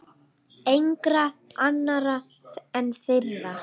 Engra annarra en þeirra.